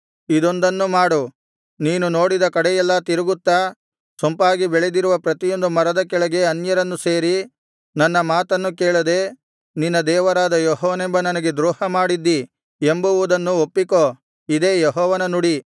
ಇದೊಂದನ್ನು ಮಾಡು ನೀನು ನೋಡಿದ ಕಡೆಯೆಲ್ಲಾ ತಿರುಗುತ್ತಾ ಸೊಂಪಾಗಿ ಬೆಳೆದಿರುವ ಪ್ರತಿಯೊಂದು ಮರದ ಕೆಳಗೆ ಅನ್ಯರನ್ನು ಸೇರಿ ನನ್ನ ಮಾತನ್ನು ಕೇಳದೆ ನಿನ್ನ ದೇವರಾದ ಯೆಹೋವನೆಂಬ ನನಗೆ ದ್ರೋಹ ಮಾಡಿದ್ದಿ ಎಂಬುವುದನ್ನು ಒಪ್ಪಿಕೋ ಇದೇ ಯೆಹೋವನ ನುಡಿ